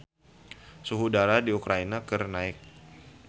Suhu udara di Ukraina keur naek